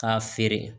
K'a feere